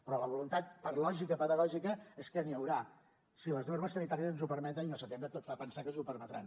però la voluntat per lògica pedagògica és que n’hi haurà si les normes sanitàries ens ho permeten i al setembre tot fa pensar que ens ho permetran